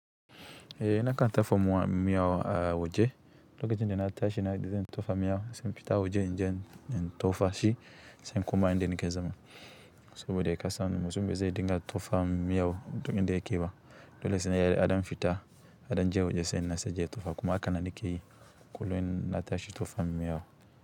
Eh, na kan tofa miya a waje. Lokacin da na tashi na zan tofa miyau, sai in fita waje in je in tofa shi, sai in koma inda nake zama. Saboda kasan mutum ba zai dinga tofa miya a duk inda yake ba. Dole sai ya ɗan fita, ya ɗan je waje sannan sai ya je ya tofa, kuma haka nan nake yi kullum in na tashi tofa miyau.